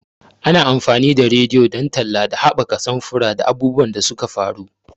Ana amfani da rediyo don talla da haɓaka samfura da abubuwan da suka faru.